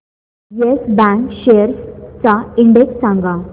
yes Bank shares चा index सांगा